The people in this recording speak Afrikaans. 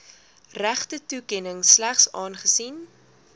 regtetoekenning slegs aangesien